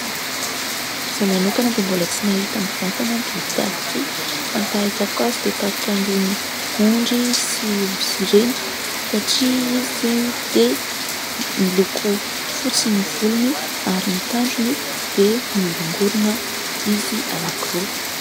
Izaho manokana dia mbola tsy nahita biby tahak'ity, fa ny fahitako azy dia tahaka an'irony ondry sy osy ireny satria izy dia miloko fotsy ny volony, ary ny tandrony dia mioringorina izy anankiroa.